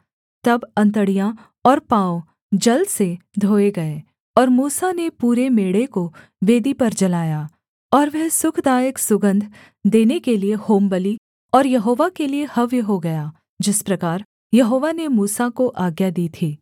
तब अंतड़ियाँ और पाँव जल से धोये गए और मूसा ने पूरे मेढ़े को वेदी पर जलाया और वह सुखदायक सुगन्ध देने के लिये होमबलि और यहोवा के लिये हव्य हो गया जिस प्रकार यहोवा ने मूसा को आज्ञा दी थी